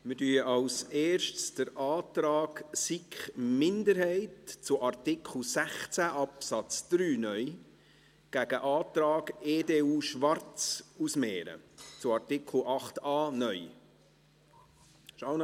Wir mehren zuerst den Antrag SiK-Minderheit zu Artikel 16 Absatz 3 (neu) gegen den Antrag EDU/Schwarz zu Artikel 8a (neu) aus.